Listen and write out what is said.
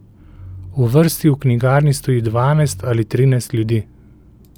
V vrsti v knjigarni stoji dvanajst ali trinajst ljudi.